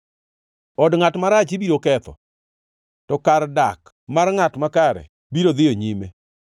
Od ngʼat marach ibiro ketho to kar dak mar ngʼat makare biro dhiyo nyime.